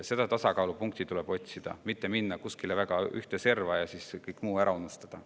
Seda tasakaalupunkti tuleb otsida, mitte minna kuskile väga ühte serva ja kõik muu ära unustada.